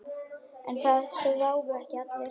En það sváfu ekki allir.